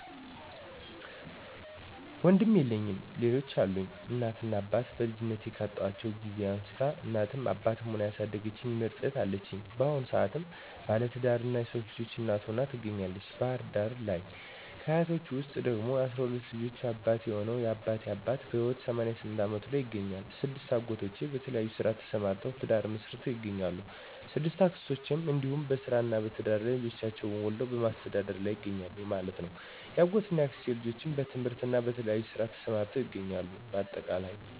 ወንድም የለኝም ሌሎች አሉኝ፦ እናት እና አባቴን በልጅነቴ ካጣሁበት ጊዜ አንስታ እናትም አባትም ሁና ያሣደገችኝ ምርጥ እህት አለችኝ። ባሁኑ ሰአትም ባለትዳርና የሶስት ልጆች እናት ሁና ትገኛለተች ባህር ዳር ለይ። ከ አያቶቸ ውስጥ ደግሞ የ12 ልጆች አባት የሆነው የ አባቴ አባት በህይወት 88 አመቱ ላይ ይገኛል። 6አጎቶቼ በተለያየ ስራ ተሰማርተውተ፤ ትዳር መሥርተው ይገኛሉ።። 6አክስቶቸም እንዲሁ በስራ እና በትዳር ላይ ልጆች ወልደው በማሥተዳደር ላይ ይገኛሉ ማለት ነው። ያጎት እና ያክስቴ ልጆችም በትምህርትና በተለያየ ስራ ተሰማርተው ይገኛሉ ባጠቃላይ።